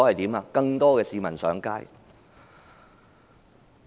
就是有更多市民上街。